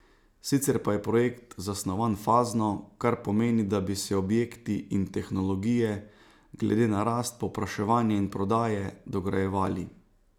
Sicer pa je projekt zasnovan fazno, kar pomeni, da bi se objekti in tehnologije, glede na rast povpraševanja in prodaje, dograjevali.